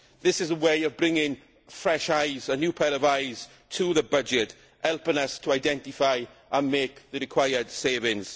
This is a way of bringing fresh eyes, a new pair of eyes to the budget, helping us to identify and make the required savings.